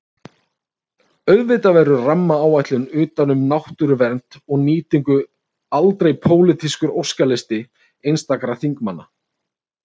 Auðvitað verður rammaáætlun utan um náttúruvernd og nýtingu aldrei pólitískur óskalisti einstakra þingmanna.